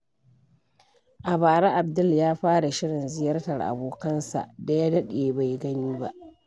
A bara, Abdul ya fara shirin ziyartar abokansa da ya daɗe bai gani ba.